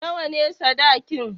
Nawa ne sadakin?